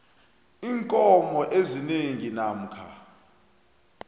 iinkomo ezine namkha